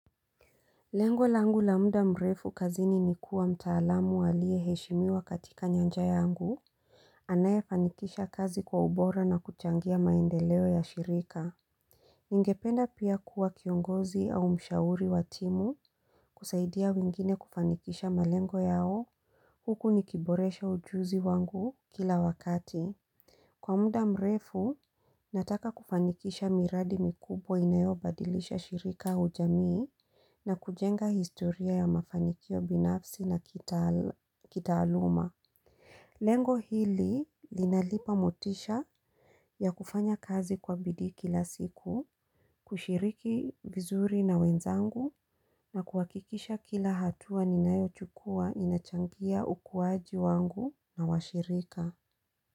Lengo langu la muda mrefu kazini ni kuwa mtaalamu aliye heshimiwa katika nyanja yangu. Anaye fanikisha kazi kwa ubora na kuchangia maendeleo ya shirika. Ningependa pia kuwa kiongozi au mshauri watimu kusaidia wengine kufanikisha malengo yao. Huku nikiboresha ujuzi wangu kila wakati. Kwa muda mrefu nataka kufanikisha miradi mikubwa inayo badilisha shirika au jamii na kujenga historia ya mafanikio binafsi na kitaaluma Lengo hili linalipa motisha ya kufanya kazi kwa bidi kila siku kushiriki vizuri na wenzangu na kuhakikisha kila hatua ninayo chukua inachangia ukuaji wangu na washirika.